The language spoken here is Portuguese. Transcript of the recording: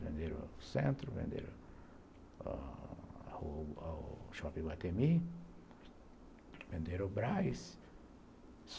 Venderam o Centro, venderam o Shopping Iguatemi, venderam o Braz.